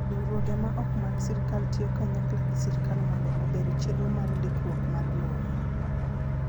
Riwruoge ma ok mag sirkal tiyo kanyakla gi sirkal mondo ober chenro mar ndikruok mar lowo.